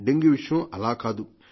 dengue విషయం అలాకాదు